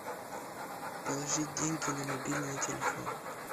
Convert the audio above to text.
положить деньги на мобильный телефон